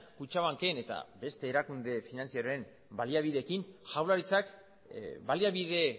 kutxabanken eta beste erakunde finantzieroen baliabideekin jaurlaritzak baliabide